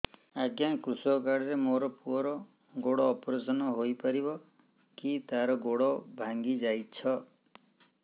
ଅଜ୍ଞା କୃଷକ କାର୍ଡ ରେ ମୋର ପୁଅର ଗୋଡ ଅପେରସନ ହୋଇପାରିବ କି ତାର ଗୋଡ ଭାଙ୍ଗି ଯାଇଛ